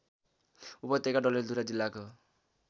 उपत्यका डडेलधुरा जिल्लाको